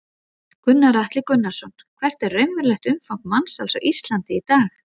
Gunnar Atli Gunnarsson: Hvert er raunverulegt umfang mansals á Íslandi í dag?